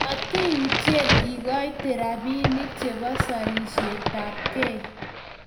matiyutyen ikoite robinik chebo serisietab gei